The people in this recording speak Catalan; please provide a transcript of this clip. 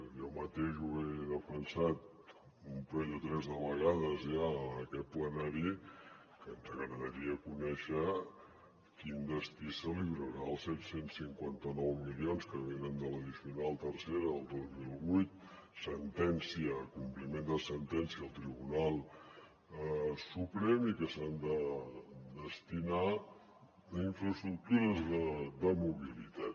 jo mateix he defensat un parell o tres de vegades ja en aquest plenari que ens agradaria conèixer quin destí es donarà als set cents i cinquanta nou milions que venen de l’addicional tercera del dos mil vuit compliment de sentència del tribunal suprem i que s’han de destinar a infraestructures de mobilitat